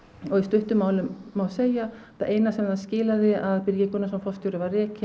og í stuttu máli má segja að eina sem það skilaði var að Birgir Gunnarsson forstjóri var rekinn